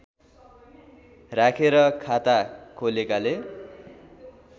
राखेर खाता खोलेकाले